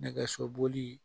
Nɛgɛsoboli